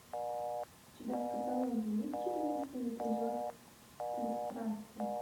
у тебя в каталоге есть четырнадцатый эпизод стыд франции